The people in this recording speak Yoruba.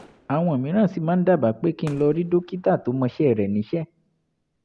àwọn mìíràn sì máa ń dábàá pé kí n lọ rí dókítà tó mọṣẹ́ rẹ̀ níṣẹ́